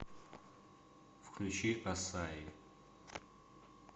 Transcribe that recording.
включи ассаи